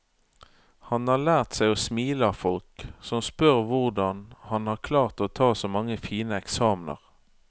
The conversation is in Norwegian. Han har lært seg å smile av folk som spør hvordan han har klart å ta så mange fine eksamener.